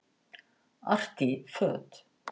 Artí föt